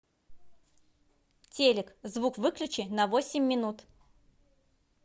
телек звук выключи на восемь минут